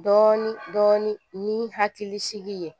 Dɔɔnin dɔɔnin ni hakili sigi ye